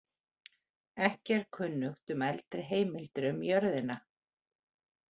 Ekki er kunnugt um eldri heimildir um jörðina.